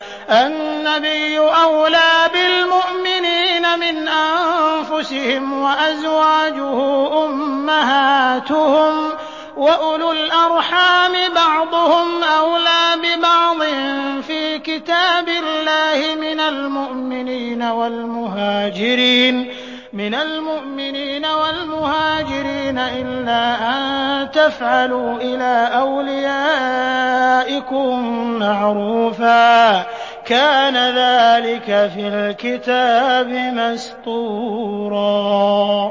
النَّبِيُّ أَوْلَىٰ بِالْمُؤْمِنِينَ مِنْ أَنفُسِهِمْ ۖ وَأَزْوَاجُهُ أُمَّهَاتُهُمْ ۗ وَأُولُو الْأَرْحَامِ بَعْضُهُمْ أَوْلَىٰ بِبَعْضٍ فِي كِتَابِ اللَّهِ مِنَ الْمُؤْمِنِينَ وَالْمُهَاجِرِينَ إِلَّا أَن تَفْعَلُوا إِلَىٰ أَوْلِيَائِكُم مَّعْرُوفًا ۚ كَانَ ذَٰلِكَ فِي الْكِتَابِ مَسْطُورًا